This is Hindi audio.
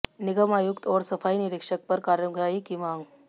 निगम आयुक्त और सफाई निरीक्षक पर कार्रवाई की मांग